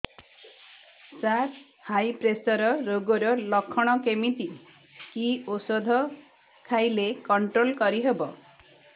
ସାର high pressure ରୋଗର ଲଖଣ କେମିତି କି ଓଷଧ ଖାଇଲେ କଂଟ୍ରୋଲ କରିହେବ